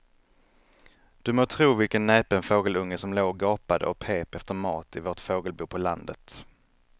Du må tro vilken näpen fågelunge som låg och gapade och pep efter mat i vårt fågelbo på landet.